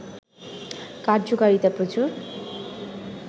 কার্যকারিতা প্রচুর